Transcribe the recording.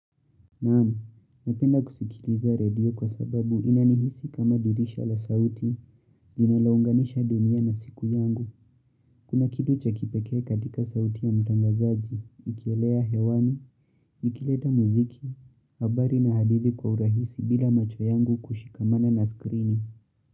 Naam, napenda kusikiliza redio kwa sababu inanihisi kama dirisha la sauti linalounganisha dunia na siku yangu. Kuna kitu cha kipekee katika sauti ya mtangazaji, ikielea hewani, ikileta muziki, habari na hadithi kwa urahisi bila macho yangu kushikamana na skrini.